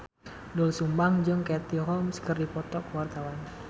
Doel Sumbang jeung Katie Holmes keur dipoto ku wartawan